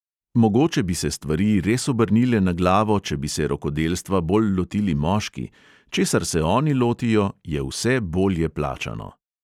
Mogoče bi se stvari res obrnile na glavo, če bi se rokodelstva bolj lotili moški – česar se oni lotijo, je vse bolje plačano ...